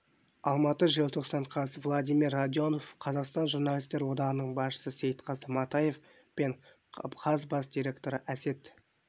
алматы желтоқсан қаз владимир радионов қазақстан журналистер одағының басшысы сейтқазы матаев пен қаз бас директоры әсет